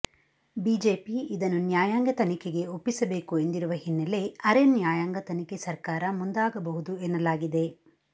BJP ಇದನ್ನು ನ್ಯಾಯಾಂಗ ತನಿಖೆಗೆ ಒಪ್ಪಿಸಬೇಕು ಎಂದಿರುವ ಹಿನ್ನಲೆ ಅರೆ ನ್ಯಾಯಾಂಗ ತನಿಖೆ ಸರ್ಕಾರ ಮುಂದಾಗಬಹುದು ಎನ್ನಲಾಗಿದೆ